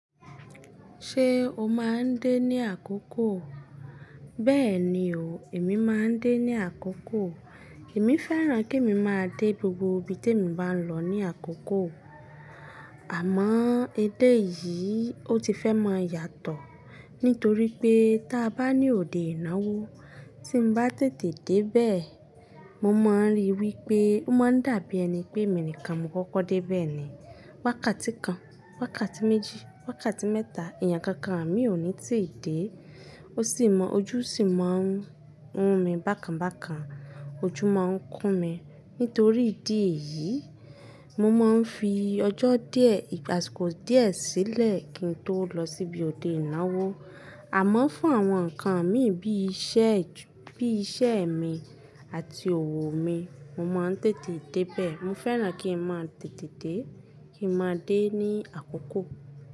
Ṣé o máa ń dé ní àkókò? Bẹ́ẹ̀ni o, èmi máa ń dé ní àkókò. Èmi fẹ́ràn kí emi máa dé gbogbo ibi tí èmi bá ń lọ ní àkókò. Àmọ́ edé yìí ó ti fẹ́ mọn yàtọ̀. Nítorí pé ta bá ní òde ìnáwó tí n bá tètè dé bẹ́ẹ̀, mo mọń ri wípé ó máa ń dàbí ẹni pé èmi nìkan mo kọ́kọ́ dé bẹ́ẹ̀ ni. Wákàtí kan, wákàtí méjì, wákàtí mẹ́ta, èèyàn kankan àmi ò ní tìí dé. Ó sì mọ́ ojú sì máa ń run mi bákan bákan. Ojú máa ń kún mi. Nítorí ìdí èyí, mo máa ń fi ọjọ́ díẹ̀ igba àsìkò díẹ̀ sílẹ̀ kí n tó lọ síbi òde ìnáwó. Àmọ́ fún àwọn nǹkan mí bí iṣẹ́ ju-- bí iṣẹ́ mi àti òwò mi, mo máa ń tètè dé bẹ́ẹ̀. Mo fẹ́ràn kí n mọn tètè dé, kí n máa dé ní àkókò.